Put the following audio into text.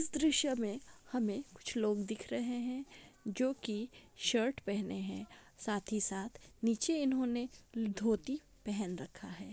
इस दृश्य में हमें कुछ लोग दिख रहे हैं जो की शर्ट पहने है ]साथ ही साथ निचे इन्होंने धोती पहन रखा है।